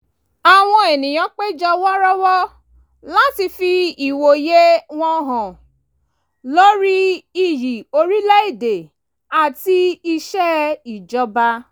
àwọn ènìyàn péjọ wọ́rọ́wọ́ láti fi ìwòye wọn hàn lórí iyì orílẹ̀ èdè áti iṣẹ́ ìjọba